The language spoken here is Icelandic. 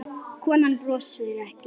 Konan brosir ekki.